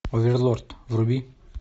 оверлорд вруби